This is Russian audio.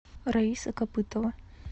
раиса копытова